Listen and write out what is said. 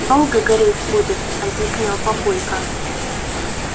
долго гореть будет объяснял папулька